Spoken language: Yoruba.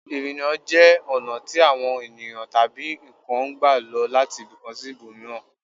Ìrìnà jẹ́ ọ̀nà tí àwọn ènìyàn tabi nǹkan ń gbà lọ láti ibìkan sí ibòmíràn